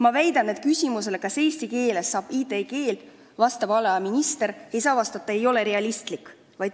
" Ma väidan, et küsimusele, kas eesti keelest saab IT-keel, ei tohi valdkonnaminister vastata: "See ei ole realistlik.